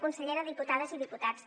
consellera diputades i diputats